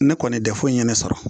Ne kɔni dɛfu ye ne sɔrɔ